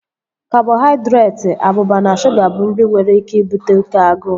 Kabọhaidretị, abụba na shuga bụ nri nwere ike ibute oké agụụ